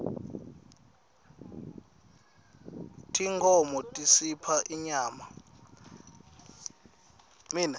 tinkhmo tisipha inyama